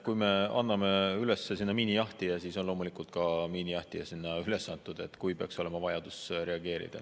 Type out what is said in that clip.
Kui me anname sinna üles miinijahtija, siis on loomulikult ka miinijahtija sinna üles antud, kui peaks olema vajadus reageerida.